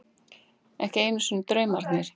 Ekki einu sinni draumarnir.